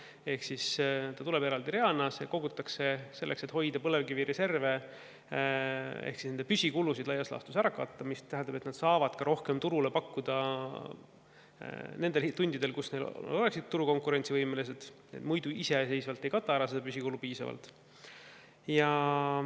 Ehk siis see tasu tuleb eraldi reana ja seda kogutakse selleks, et hoida põlevkivireserve ehk siis püsikulusid laias laastus ära katta, mis tähendab, et nad saavad ka rohkem turule pakkuda nendel tundidel, kui nad oleksid turul konkurentsivõimelised, muidu iseseisvalt nad ei kata seda püsikulu piisavalt.